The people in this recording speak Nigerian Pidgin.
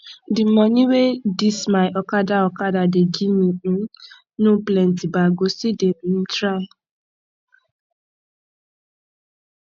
di moni wey dis my okada okada dey give me um no plenty but i go still dey um try